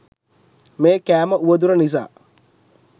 මේ කෑම උවදුර නිසා